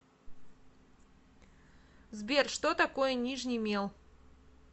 сбер что такое нижний мел